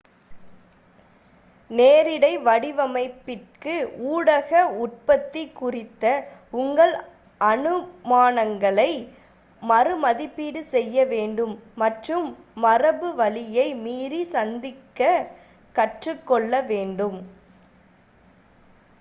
நேரிடை வடிவமைப்பிற்கு ஊடக உற்பத்தி குறித்த உங்கள் அனுமானங்களை மறு மதிப்பீடு செய்ய வேண்டும் மற்றும் மரபு வழியை மீறி சிந்திக்க கற்றுக்கொள்ள வேண்டும்